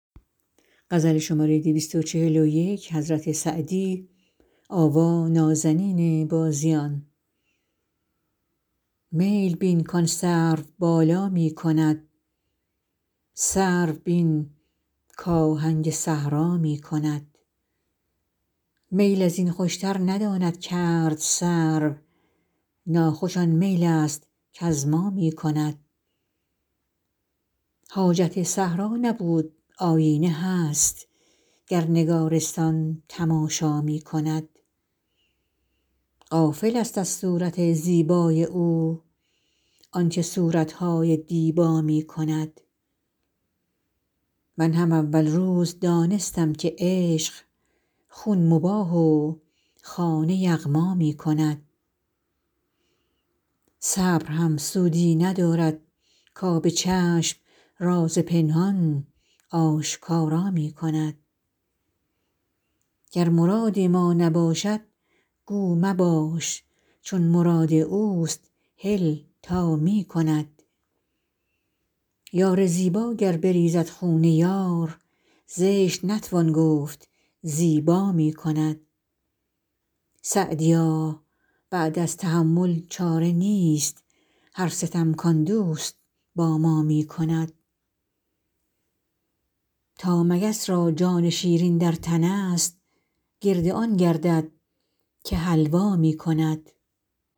میل بین کآن سروبالا می کند سرو بین کآهنگ صحرا می کند میل از این خوشتر نداند کرد سرو ناخوش آن میل است کز ما می کند حاجت صحرا نبود آیینه هست گر نگارستان تماشا می کند غافلست از صورت زیبای او آن که صورت های دیبا می کند من هم اول روز دانستم که عشق خون مباح و خانه یغما می کند صبر هم سودی ندارد کآب چشم راز پنهان آشکارا می کند گر مراد ما نباشد گو مباش چون مراد اوست هل تا می کند یار زیبا گر بریزد خون یار زشت نتوان گفت زیبا می کند سعدیا بعد از تحمل چاره نیست هر ستم کآن دوست با ما می کند تا مگس را جان شیرین در تنست گرد آن گردد که حلوا می کند